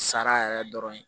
Sara yɛrɛ dɔrɔn ye